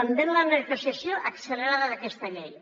també en la negociació accelerada d’aquesta llei